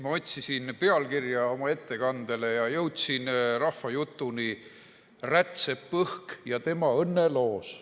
Ma otsisin oma ettekandele pealkirja ja jõudsin rahvajutuni "Rätsep Õhk ja tema õnneloos".